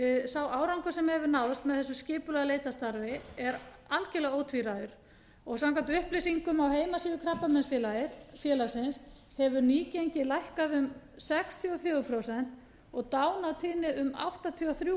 sá árangur sem hefur náðst með þessu skipulega leitarstarfi er algjörlega ótvíræður og samkvæmt upplýsingum á heimasíðu krabbameinsfélagsins hefur nýgengið lækkað um sextíu og fjögur prósent og dánartíðni um áttatíu og þrjú